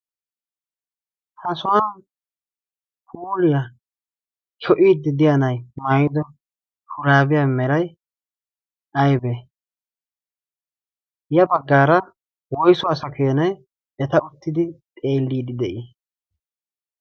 ha sohan huuliyaa sho'iidi diyaa nay maaydo shuraabiyaa meray aybee ya baggaara woysuwaasa keenay eta uttidi xeelliidi de'ii